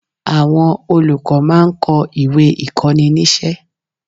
Àwọn olùkọ́ máa ń kó ìwé ìkóninísé